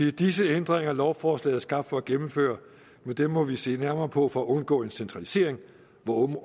er disse ændringer lovforslaget er skabt for at gennemføre men dem må vi se nærmere på for at undgå en centralisering på